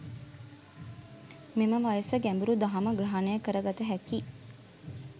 මෙම වයස ගැඹූරු දහම ග්‍රහණය කරගත හැකි,